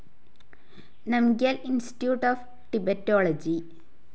Namgyal institute of Tibetology